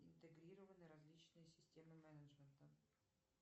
интегрированы различные системы менеджмента